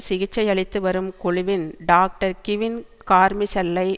சிகிச்சையளித்து வரும் குழுவின் doctor Kevin கார்மிசெல்லை